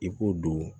I ko don